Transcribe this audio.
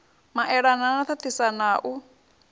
maelana na ṱaṱisana ha u